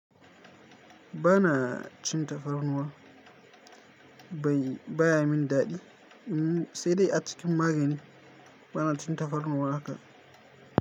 Bana cin tafarnuwa ba yi baya min daɗi, sai dai a cikin magani bana cin tafarnuwa haka.